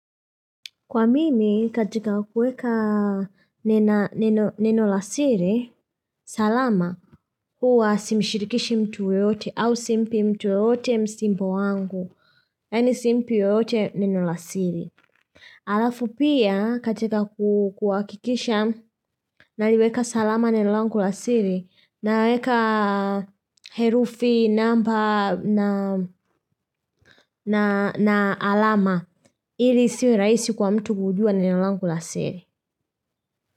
Kwa mimi, katika kuweka neno lasiri, salama, huwa simshirikishi mtu yeyote au simpi mtu yeyote msimbo wangu. Yani simpi yeyote neno lasiri. Alafu pia, katika kuhakikisha naliweka salama neno langu lasiri na weka herufi namba na alama ili isiweraisi kwa mtu kujua neno langu lasiri.